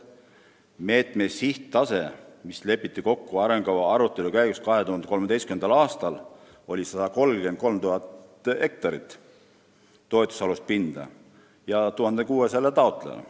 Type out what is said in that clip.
Meetme sihttase, mis lepiti kokku arengukava arutelu käigus 2013. aastal, oli 133 000 hektarit toetusalust pinda 1600 taotlejale.